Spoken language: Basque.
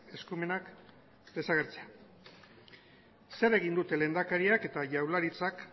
eskumenak desagertzea zer egin dute lehendakariak eta jaurlaritzak